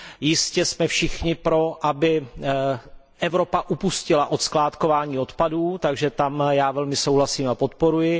Jistě jsme všichni pro, aby Evropa upustila od skládkování odpadů, s tím velmi souhlasím a návrh podporuji.